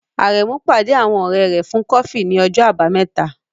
Aremeu pàdé àwọn ọ̀rẹ́ rẹ̀ fún kọfí ní ọjọ́ Àbámẹ́ta.